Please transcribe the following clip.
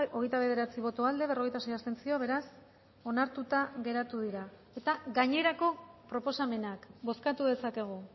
hogeita bederatzi boto aldekoa berrogeita sei abstentzio beraz onartuta geratu dira eta gainerako proposamenak bozkatu dezakegu